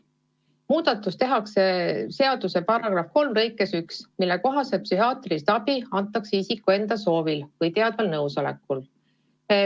Muudatus tehakse seaduse § 3 lõikes 1 ja muudatuse kohaselt antakse psühhiaatrilist abi isiku enda soovil või tema teadval nõusolekul.